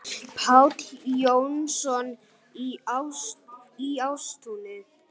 Páll Jónsson í Ástúni